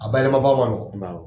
A bayɛlɛma ba man nɔgɔ.